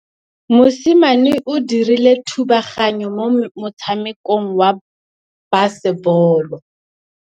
Mosimane o dirile thubaganyô mo motshamekong wa basebôlô.